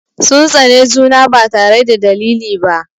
Sun tsane juna ba tare da dalili ba.